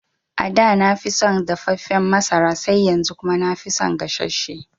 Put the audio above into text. Ada nafi son dafaffen masara sai yanzu kuma nafi son gasasshe